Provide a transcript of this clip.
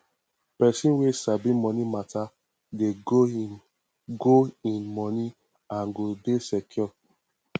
pesin wey sabi moni mata dey grow in grow in moni and go dey secure